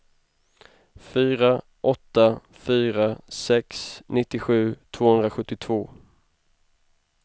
fyra åtta fyra sex nittiosju tvåhundrasjuttiotvå